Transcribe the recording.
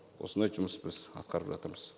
осындай жұмыс біз атқарып жатырмыз